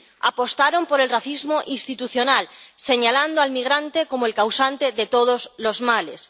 Apostaron por el racismo institucional, señalando al migrante como el causante de todos los males.